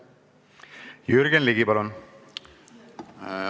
Jürgen Ligi, palun!